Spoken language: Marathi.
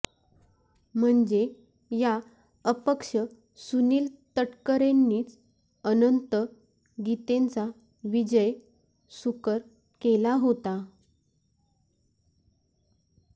म्हणजे या अपक्ष सुनील तटकरेंनीच अनंत गीतेंचा विजय सुकर केला होता